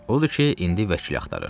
Odur ki, indi vəkil axtarır.